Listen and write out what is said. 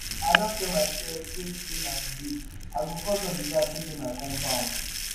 i don tell my self say today na today. i go cut all the grass wey dey my compound